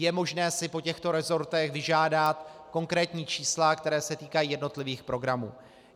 Je možné si po těchto resortech vyžádat konkrétní čísla, která se týkají jednotlivých programů.